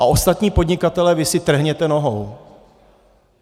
A ostatní podnikatelé, vy si trhněte nohou.